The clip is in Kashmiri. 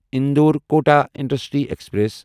Indore Kota intercity express